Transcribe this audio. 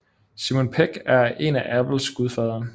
Simon Pegg er en af Apples gudfadere